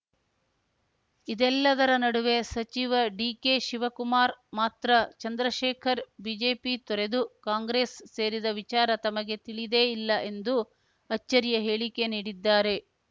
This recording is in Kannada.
ಇದೆಲ್ಲದರ ನಡುವೆ ಸಚಿವ ಡಿಕೆಶಿವಕುಮಾರ್‌ ಮಾತ್ರ ಚಂದ್ರಶೇಖರ್‌ ಬಿಜೆಪಿ ತೊರೆದು ಕಾಂಗ್ರೆಸ್‌ ಸೇರಿದ ವಿಚಾರ ತಮಗೆ ತಿಳಿದೇ ಇಲ್ಲ ಎಂದು ಅಚ್ಚರಿಯ ಹೇಳಿಕೆ ನೀಡಿದ್ದಾರೆ